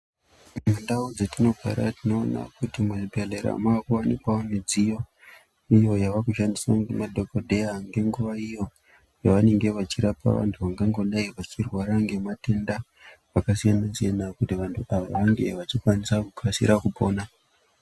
Ndau dzatinogara tinoona kuti muzvibhedhlera makuwanikwawo midziyo yavakushandiswa nemadhokodheya ngenguwa iyo yanenge achirapa muntu angangodai uchirwara nematenda akasiyana siyana kuti vantu ava ange achikasira kupora.